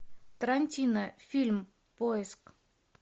тарантино фильм поиск